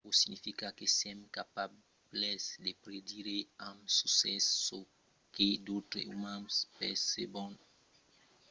aquò significa que sèm capables de predire amb succès çò que d'autres umans percebon vòlon far creson sabon o desiran